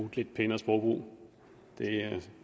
et lidt pænere sprog det